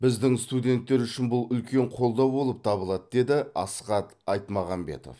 біздің студенттер үшін бұл үлкен қолдау болып табылады деді асхат айтмағамбетов